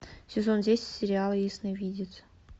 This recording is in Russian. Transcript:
сезон десять сериала ясновидец